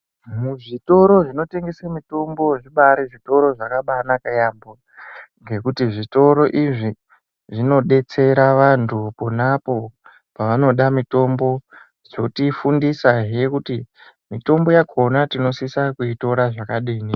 Muzvitoro zvinotengese mitombo, zvibaari zvitoro zvakabaanaka yaampho, ngekuti zvitoro izvi zvinodetsera vantu pona apo pavanoda mitombo, zvotifundisahe kuti ,mitombo yakhona tinosisa kuitora zvakadini.